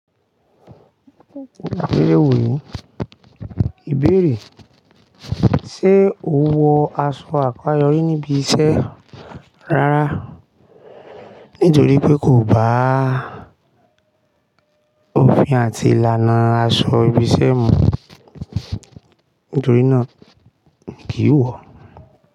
Ni e wò ó yi, ìbéèrè sé ò ń wọ aṣọ àkọ́ayọrí níbi iṣẹ́ rárá nítorí pé kò bá òfin àti ìlànà aṣọ ibi iṣẹ́ mu nítorí náà mi kì í wọ̀